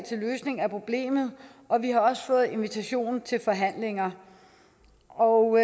til løsning af problemet og vi har også fået invitationen til forhandlinger og